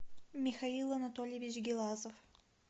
михаил анатольевич гелазов